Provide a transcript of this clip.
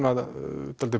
dálítið